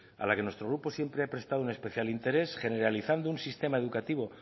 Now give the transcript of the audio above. a la que nuestro grupo siempre ha prestado un especial interés generalizando un sistema educativo